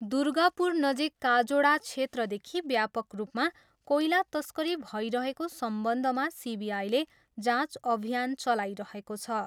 दुर्गापुरनजिक काजोडा क्षेत्रदेखि व्यापक रूपमा कोइला तस्करी भइरहेको सम्बन्धमा सिबिआईले जाँच अभियान चलाइरहेको छ।